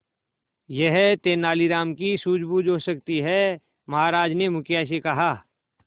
यह तेनालीराम की सूझबूझ हो सकती है महाराज ने मुखिया से कहा